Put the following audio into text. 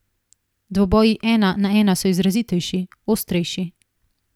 Dvoboji ena na ena so izrazitejši, ostrejši.